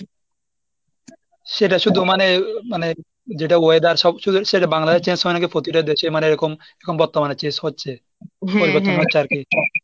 সেটা শুধু মানে মানে যেটা weather সব বাংলাদেশের change হয় নাকি প্রতিটা দেশে মানে এরকম বর্তমানে change হচ্ছে? পরিবর্তন হয় .